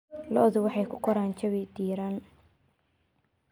Lo'du waxay ku koraan jawi diiran.